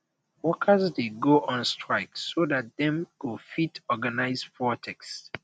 workers de go on strike so that dem go fit organise protest